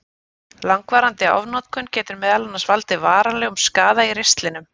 Langvarandi ofnotkun getur meðal annars valdið varanlegum skaða í ristlinum.